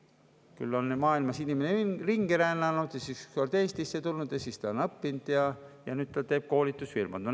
Inimene on maailmas ringi rännanud, siis Eestisse tulnud, õppima ja nüüd ta on teinud koolitusfirma.